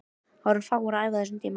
Það voru fáir að æfa á þessum tíma.